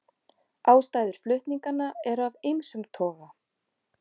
Ástæður flutninganna eru af ýmsum toga